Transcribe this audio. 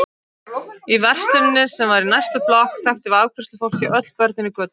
Í versluninni, sem var í næstu blokk, þekkti afgreiðslufólkið öll börnin í götunni.